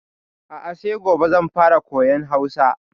A'a sai gobe zan fara koyan Hausa.